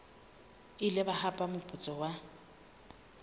ile ba hapa moputso wa